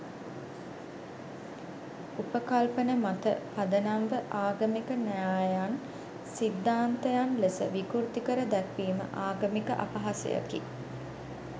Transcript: උපකල්පන මත පදනම්ව ආගමික න්‍යායයන් සිද්ධාන්තයන් ලෙස විකෘති කර දැක්වීම ආගමික අපහාසයකි